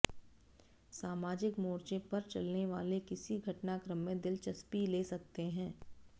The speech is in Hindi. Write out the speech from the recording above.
समाजिक मोर्चे पर चलने वाले किसी घटनाक्रम में दिलचस्पी ले सकते हैं